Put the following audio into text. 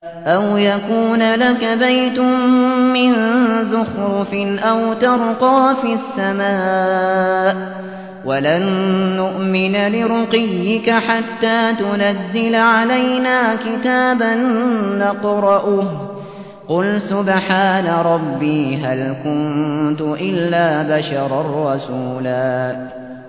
أَوْ يَكُونَ لَكَ بَيْتٌ مِّن زُخْرُفٍ أَوْ تَرْقَىٰ فِي السَّمَاءِ وَلَن نُّؤْمِنَ لِرُقِيِّكَ حَتَّىٰ تُنَزِّلَ عَلَيْنَا كِتَابًا نَّقْرَؤُهُ ۗ قُلْ سُبْحَانَ رَبِّي هَلْ كُنتُ إِلَّا بَشَرًا رَّسُولًا